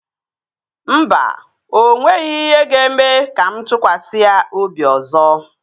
Mba, o nweghị ihe ga-eme ka mụ tụkwasị ya obi ọzọ